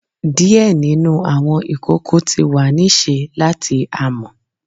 Diẹ ninu awọn ikoko ti wa ni ṣe lati amọ